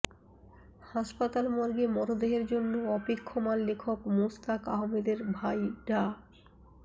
হাসপাতাল মর্গে মরদেহের জন্য অপেক্ষমাণ লেখক মোস্তাক আহমেদের ভাই ডা